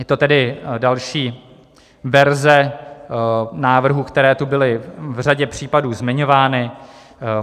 Je to tedy další verze návrhů, které tu byly v řadě případů zmiňovány.